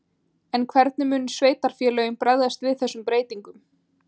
En hvernig munu sveitarfélögin bregðast við þessum breytingum?